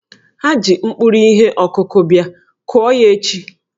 Ha ji mkpụrụ ihe ọkụkụ bia, kụọ ya echi!